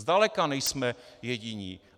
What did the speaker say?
Zdaleka nejsme jediní.